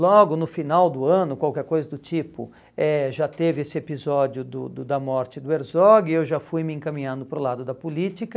Logo no final do ano, qualquer coisa do tipo, eh já teve esse episódio do do do da morte do Herzog e eu já fui me encaminhando para o lado da política.